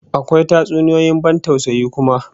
Akwa tatsuniyoyin ban tausayi kuma